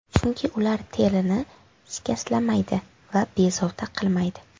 Chunki ular terini shikastlamaydi va bezovta qilmaydi.